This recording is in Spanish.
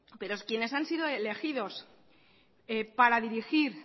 pero quienes han sido elegidos para dirigir